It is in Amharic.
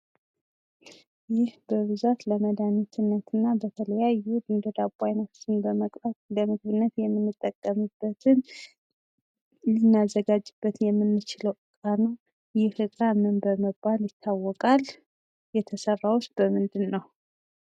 ይህ በብዛት ለመድሃኒትነት እና ለተለያዩ የዳቦ አይነቶችን በመቅባት ለምግብነት ልናዘጋጅበት የምንችለው እቃ ነው። ይህ እቃ ምን በመባል ይታወቃል?